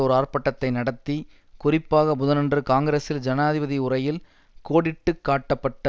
ஒர் ஆர்பாட்டத்தை நடத்தி குறிப்பாக புதனன்று காங்கிரசில் ஜனாதிபதி உரையில் கோடிட்டு காட்டப்பட்ட